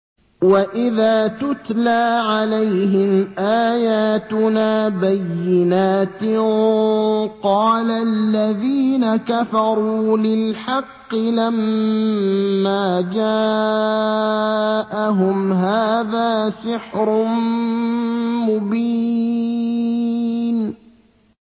وَإِذَا تُتْلَىٰ عَلَيْهِمْ آيَاتُنَا بَيِّنَاتٍ قَالَ الَّذِينَ كَفَرُوا لِلْحَقِّ لَمَّا جَاءَهُمْ هَٰذَا سِحْرٌ مُّبِينٌ